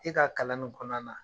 E ka kalan nin kɔnɔna na